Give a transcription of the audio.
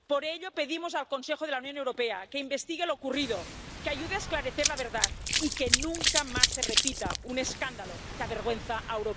Por ello, pedimos al Consejo de la Unión Europea que investigue lo ocurrido, que ayude a esclarecer la verdad y que nunca más se repita un escándalo que avergüenza a